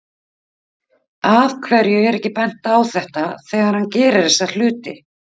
Af hverju er ekki bent á þetta þegar hann gerir þessa hluti?